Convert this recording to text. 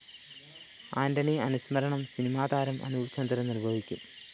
ആന്റണി അനുസ്മരണം സിനിമാതാരം അനൂപ്ചന്ദ്രന്‍ നിര്‍വഹിക്കും